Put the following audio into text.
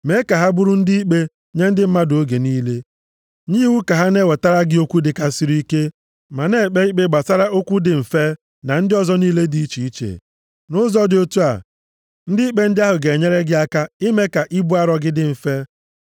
Mee ka ha bụrụ ndị ikpe nye ndị mmadụ oge niile. Nye iwu ka ha na-ewetara gị okwu dịkarịsịrị ike, ma na-ekpe ikpe gbasara okwu dị mfe na ndị ọzọ niile dị iche iche. Nʼụzọ dị otu a, ndị ikpe ndị ahụ ga-enyere gị aka ime ka ibu arọ gị dị mfe.